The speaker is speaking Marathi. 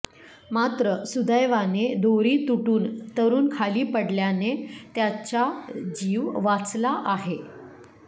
मात्र सुदैवाने दोरी तुटून तरुण खाली पडल्याने त्याचा जीव वाचला आहे